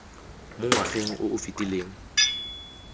mo ngwageng o o fetileng